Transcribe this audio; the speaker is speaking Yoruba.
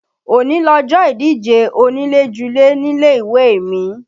Òní lọjọ́ ìdíje onílé-julé nílé ìwé mi